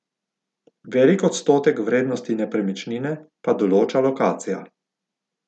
Velik odstotek vrednosti nepremičnine pa določa lokacija.